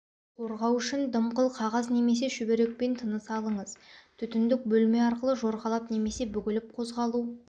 қорғау үшін дымқыл қағаз немесе шүберекпен тыныс алыңыз түтіндік бөлме арқылы жорғалап немесе бүгіліп қозғалу